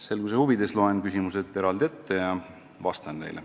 Selguse huvides loen küsimused eraldi ja siis vastan neile.